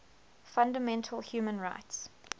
fundamental human rights